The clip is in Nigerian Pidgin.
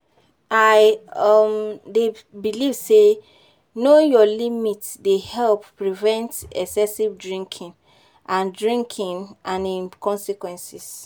I um dey believe say knowing your limit dey help prevent excessive drinking and drinking and im consequences.